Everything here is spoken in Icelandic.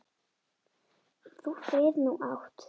Þú frið nú átt.